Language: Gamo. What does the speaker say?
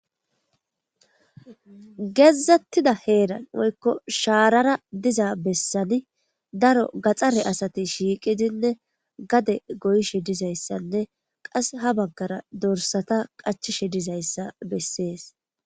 Gedzdzettida heeran woykko shaarara diza bessani daro gaxare asati shiiqidinne gade goyishe dizayssanne qas ha baggara dorsata qachishe dizayssa bessees.